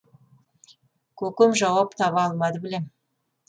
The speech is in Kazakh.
көкем жауап таба алмады білем